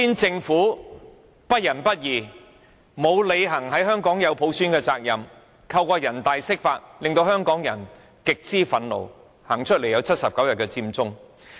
政府不仁不義，沒有履行在香港落實普選的責任，卻尋求人大釋法，令香港人極之憤怒，走上街頭，最終導致79日佔中。